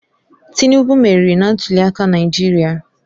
Tinubu meriri na ntuliaka Naijiria